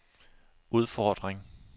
udfordring